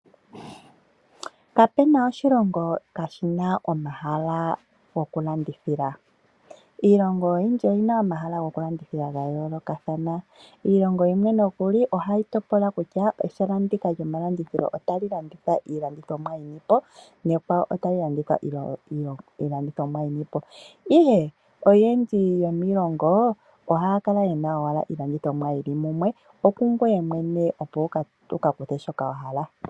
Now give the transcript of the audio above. Kapena oshilongo kashina omahala gokulandithila iilongo oyindji oyina omahala gokulandithila ga yoolokathana ,iilongao yimwe nokuli ohayi topola kutya ehala ndika lyomalandithilo otali landitha iilandithomwa yoludhi luni nehala ekwawo otali landitha iilandithonwa iikwawo nonande ongawo iilongo yimwe ohayi kala niilandithinwa yili munwe oku gweye mwene to hogolola kutya oto kalanda peni.